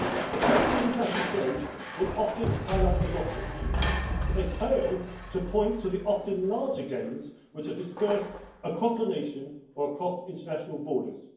Opponents of international trade will often highlight the losses, but they fail to point to the often larger gains which are dispersed across a nation or across international borders.